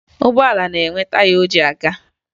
Ụgbọala na-enwe taya o ji aga